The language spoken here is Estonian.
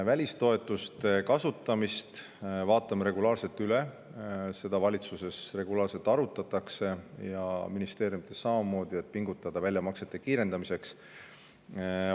Välistoetuste kasutamist vaatame regulaarselt üle, seda arutatakse valitsuses ja ministeeriumides regulaarselt ning seal pingutatakse selleks, et kiirendada väljamaksete tegemist.